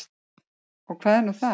Og hvað er nú það?